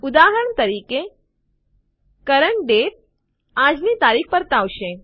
ઉદાહરણ તરીકે CURRENT DATE આજની તારીખ પર્તાવશે